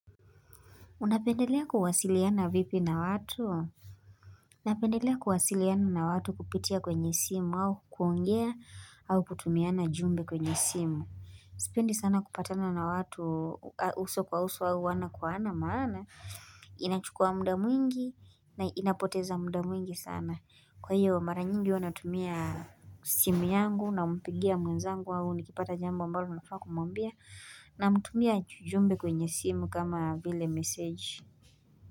Unapendelea kuwasiliana vipi na watu? Naapendelea kuwasiliana na watu kupitia kwenye simu au kuongea au kutumiana jumbe kwenye simu. Sipendi sana kupatana na watu uso kwa uso au ana kwa ana maana. Inachukua muda mwingi na inapoteza muda mwingi sana. Kwa hiyo mara nyingi huwa natumia simu yangu na mpigia mwenzangu au nikipata jambo ambalo nafaa kumwambia namtumia jumbe kwenye simu kama vile message.